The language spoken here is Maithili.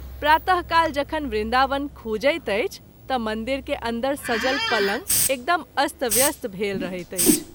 प्रात:काल जखन वृन्दावन खूजैत अछि त’ मंदिर के अन्दर सजल पलंग एकदम अस्त व्यस्त भेल रहैत अछि।